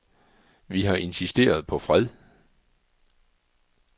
Vi har insisteret på fred.